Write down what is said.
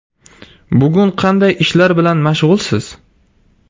Bugun qanday ishlar bilan mashg‘ulsiz?